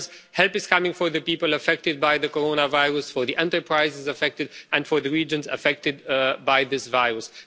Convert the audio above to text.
Help is coming for the people affected by the coronavirus, for the enterprises affected and for the regions affected by this virus.